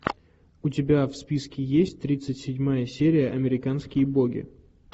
у тебя в списке есть тридцать седьмая серия американские боги